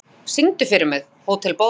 Gná, syngdu fyrir mig „Hótel Borg“.